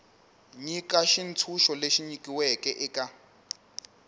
nyika xitshunxo lexi nyikiweke eka